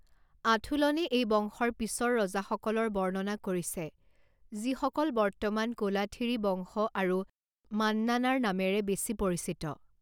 আথুলনে এই বংশৰ পিছৰ ৰজাসকলৰ বৰ্ণনা কৰিছে যিসকল বৰ্তমান কোলাথিৰী বংশ আৰু মন্নানাৰ নামেৰে বেছি পৰিচিত।